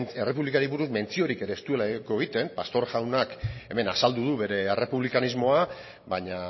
errepublikari buruz mentziorik ere ez du egiten pastor jaunak hemen azaldu du bere errepublikanismoa baina